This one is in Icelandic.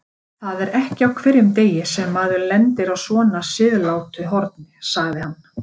Það er ekki á hverjum degi sem maður lendir á svona siðlátu horni, sagði hann.